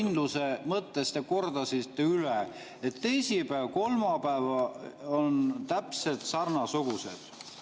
… et kindluse mõttes te kordasite üle, et teisipäev ja kolmapäev on täpselt samasugused.